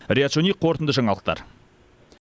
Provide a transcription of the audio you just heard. риат шони қорытынды жаңалықтар